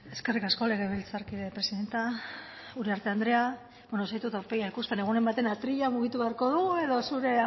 eskerrik asko legebiltzarkide presidente uriarte andrea bueno ez dizut aurpegia ikusten egunen batean atrila mugitu beharko dugu edo zure